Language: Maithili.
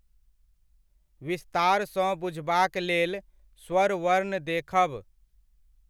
विस्तारसँ बुझबाक लेल स्वर वर्ण देखब।